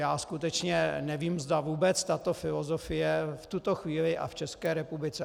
Já skutečně nevím, zda vůbec tato filozofie v tuto chvíli a v České republice...